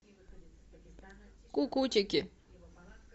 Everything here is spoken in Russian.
кукутики